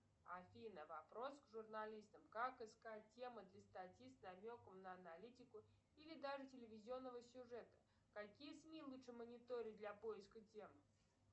афина вопрос к журналистам как искать темы для статьи с намеком на аналитику или даже телевизионного сюжета какие сми лучше мониторить для поиска тем